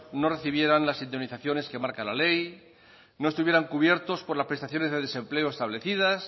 no recibieran las indemnizaciones que marca la ley no estuvieran cubiertos por las prestaciones de desempleo establecidas